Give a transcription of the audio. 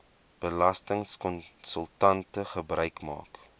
belastingkonsultante gebruik maak